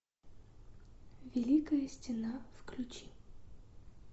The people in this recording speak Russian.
великая стена включи